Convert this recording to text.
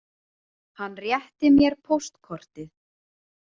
Hann rétti mér póstkortið.